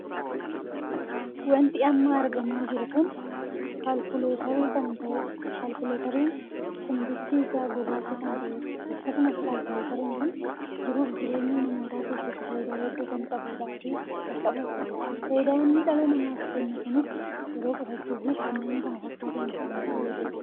Wanti amma argamaa jiru kun kaalkuleeter kan ta'eedha. Kaalkuleeteriin kun bifti isaa gurraacha kan ta'eedha. Akkasumas kaalkuleeteriin kun jiruu fi jireenya namootaa keessatti faayidaa hedduu kan qabuudha. Faayidaa inni dhala namaaf kennu kunis yeroo qusachuuf fi kanneen kana fakkataniif kan nu fayyaduudha.